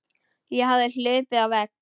Ég hafði hlaupið á vegg.